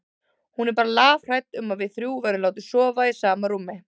Hún er bara lafhrædd um að við þrjú verðum látin sofa í sama rúmi.